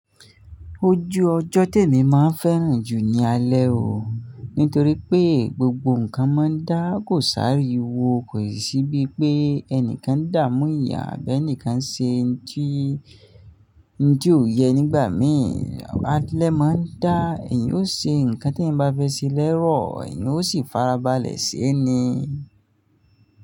Ojú ọjọ́ tèmi máa ń fẹ́ràn jù ní alẹ́ o. Nítorí pé gbogbo nǹkan máa ń dáà kóṣi áríwo, kò sì bíi pé ẹnìkan ń dàámú ìyà àbí ẹnìkan ń ṣe ohun tí kò yẹ nígbà mí. Ọba alẹ́ máa ń dá, èèyàn yóò ṣe nǹkan tí ẹnìyan bá fẹ́ ṣe lẹ́rọ̀, èèyàn ó sì farabalẹ̀ ṣé ẹni.